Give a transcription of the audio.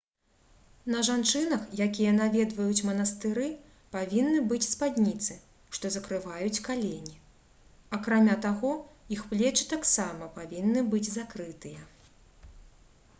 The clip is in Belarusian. на жанчынах якія наведваюць манастыры павінны быць спадніцы што закрываюць калені акрамя таго іх плечы таксама павінны быць закрытыя